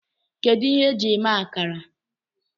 Kedu ihe eji eme akara?